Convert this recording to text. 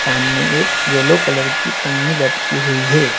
सामने एक yellow colour की पन्नी लटकी हुई है।